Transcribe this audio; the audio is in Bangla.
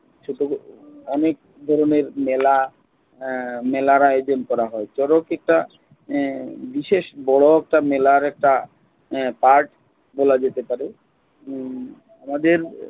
সে ক্ষেত্রে অনেক ধরনের মেলা আহ মেলার আয়োজন করা হয়। শরৎ একটা আহ বিশেষ বড় একটা মেলার একটা আহ পাঠ বলা যেতে পারে। উম তাদের